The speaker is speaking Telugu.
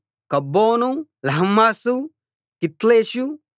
కబ్బోను లహ్మాసు కిత్లిషు